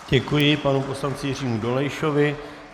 Děkuji panu poslanci Jiřímu Dolejšovi.